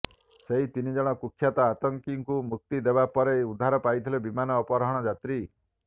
ସେହି ତିନିଜଣ କୁଖ୍ୟାତ ଆତଙ୍କୀଙ୍କୁ ମୁକ୍ତିଦେବା ପରେ ଉଦ୍ଧାର ପାଇଥିଲେ ବିମାନ ଅପହରଣ ଯାତ୍ରୀ